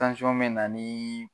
Tansyɔn bɛ na niii.